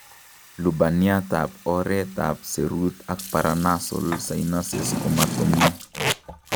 Lubaniat ab oreet ab seruut ak paranasal sinuses komatomii